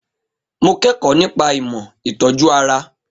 Mo kẹ́kọ̀ọ́ nípa ìmọ̀ ìtọ́jú ara